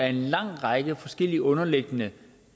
af en lang række forskellige underliggende